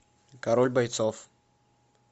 король бойцов